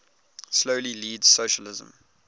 slowly leads socialism